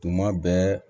Tuma bɛɛ